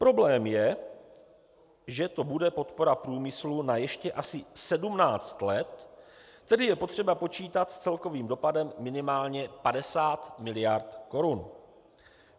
Problém je, že to bude podpora průmyslu na ještě asi 17 let, tedy je potřeba počítat s celkovým dopadem minimálně 50 miliard korun.